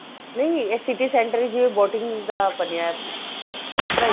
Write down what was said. ਨਹੀਂ ਇਹ city center ਵਿੱਚ ਜਿਵੇਂ boating ਦਾ ਬਣਿਆ ਉਸ ਤਰ੍ਹਾਂ ਈ